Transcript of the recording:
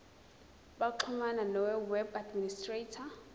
baxhumane noweb administrator